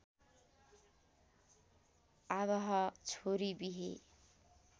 आवाह छोरी बिहे